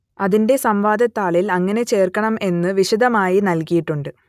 അതിന്റെ സംവാദ താളിൽ എങ്ങനെ ചേർക്കണം എന്നു വിശദമായി നൽകിയിട്ടുണ്ട്